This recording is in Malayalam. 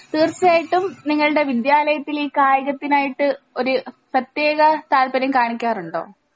തീർച്ചായിട്ടും നിങ്ങള്ടെ വിദ്യാലായത്തിൽ ഈ കായികത്തിനായിട്ട് ഒര് പ്രേതെക താല്പര്യം കാണിക്കാറുണ്ടോ?